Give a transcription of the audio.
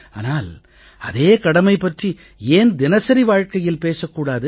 ஆனால் அதே கடமை பற்றி ஏன் தினசரி வாழ்கையில் பேசக் கூடாது